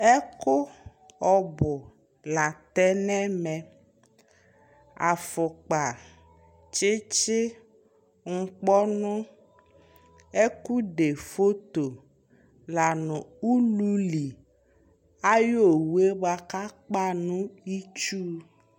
Ɛkʋ ɔbʋ la tɛ nʋ ɛmɛ: afʋkpa, tsɩtsɩ, nʋkpɔnʋ, ɛkʋde foto la nʋ ululi ayʋ uwo yɛ bʋa kʋ akpa nʋ itsu